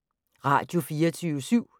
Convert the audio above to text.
Radio24syv